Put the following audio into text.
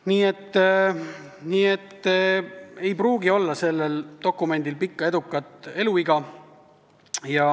Nii et sellel dokumendil ei pruugi olla pikka edukat eluiga.